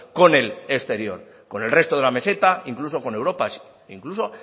con el exterior con el resto de la meseta incluso con europa incluso